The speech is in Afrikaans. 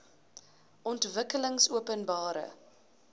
ontwikkelingopenbare